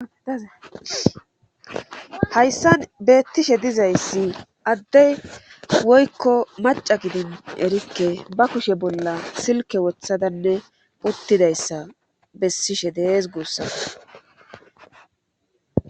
Hayssan beettishe dizayssi addey woykko maca gidin erikke ba kushe bolla silke wothadanne uttidayssa bessishe dees guussas.